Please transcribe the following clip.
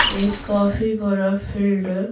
एक काफी बड़ा फील्ड --